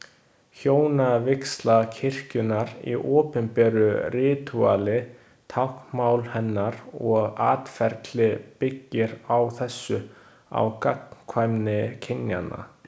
Hjónavígsla kirkjunnar í opinberu ritúali, táknmál hennar og atferli byggir á þessu, á gagnkvæmni kynjanna.